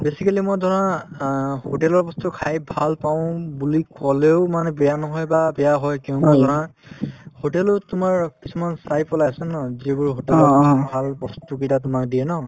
basically মোৰ ধৰা অ hotel ৰ বস্তু খাই ভাল পাওঁ বুলি কলেও মানে বেয়া নহয় বা বেয়া হয় তেনেকুৱা ধৰা hotel ত তোমাৰ কিছুমান আছে ন যিবোৰ hotel ত ভাল বস্তুকেইটা তোমাক দিয়ে ন